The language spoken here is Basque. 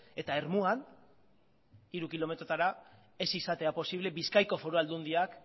eta ermuan hiru kilometrotara ez izatea posiblea bizkaiko foru aldundiak